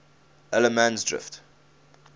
allemansdrift